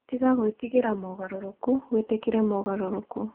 Tiga gwĩtigĩra mogarũrũku, wĩtĩkĩre mogarũrũku.